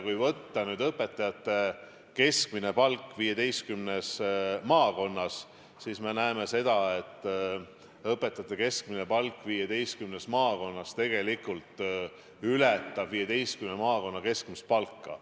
Kui me võtame õpetaja keskmise palga 15 maakonnas, siis me näeme, et õpetaja keskmine palk 15 maakonnas tegelikult ületab 15 maakonna keskmist palka.